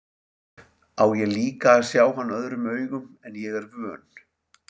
Á ég líka að sjá hann öðrum augum en ég er vön.